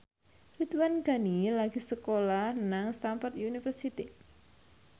Ridwan Ghani lagi sekolah nang Stamford University